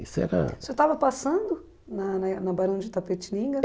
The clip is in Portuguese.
Isso era... Você estava passando na na na Barão de Itapetininga?